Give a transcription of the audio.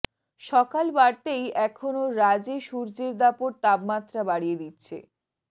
সকাল বাড়তেই এখনও রাজ্য়ে সূর্যের দাপট তাপমাত্রা বাড়িয়ে দিচ্ছে